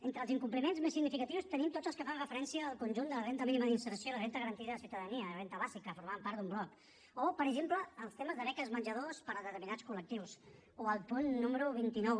entre els incompliments més significatius tenim tots els que fan referència al conjunt de la renda mínima d’inserció la renda garantida de ciutadania la renda bàsica formaven part d’un bloc o per exemple els temes de beques menjador per a determinats col·lectius o el punt número vint nou